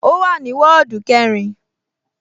Ó wà ní wọ́ọ̀dù kẹrin